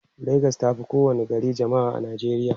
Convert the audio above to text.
legas tafi kowa ni gari jamma'a a nijeriya